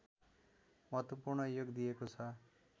महत्त्वपूर्ण योग दिएको छ